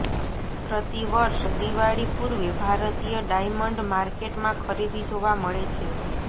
પ્રતિવર્ષ દિવાળી પૂર્વે ભારતીય ડાયમંડ માર્કેટમાં ખરીદી જોવા મળે છે